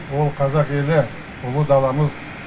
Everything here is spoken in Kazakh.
ол қазақ елі ұлы даламыз